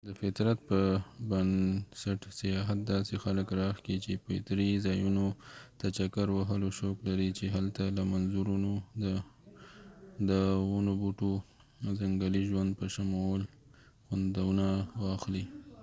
د فطرت په بنسټ سیاحت داسې خلک راښکي چې فطري ځایونو ته چکر وهلو شوق لري چې هلته له منظرونو د ونوبوټو او ځنګلي ژوند په شمول خوندونه واخلي